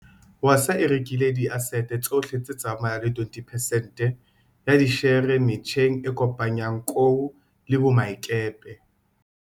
Wasaa e rekile diasete tsohle tse tsamayang le 20 pesente ya dishere metjheng e kopanyang kou le boemakepe.